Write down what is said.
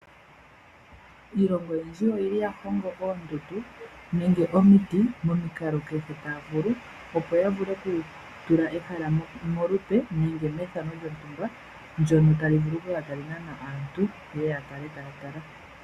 Iilongo oyindji oha yi hongo oombete momiti momikalo kehe taya vulu. Opo ya vule oku tula ehala molupe nenge methano lyontumba ndyono tali vulu oku kala tali nana aantu ye ye ya kale taya tala.